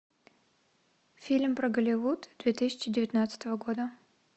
фильм про голливуд две тысячи девятнадцатого года